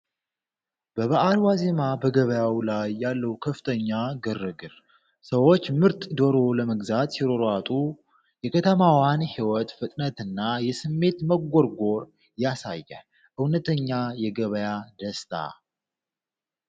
በበዓል ዋዜማ በገበያው ላይ ያለው ከፍተኛ ግርግር! ሰዎች ምርጥ ዶሮ ለመግዛት ሲሯሯጡ፣ የከተማዋን ሕይወት ፍጥነትና የስሜት መጎርጎር ያሳያል። እውነተኛ የገበያ ደስታ!